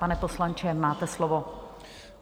Pane poslanče, máte slovo.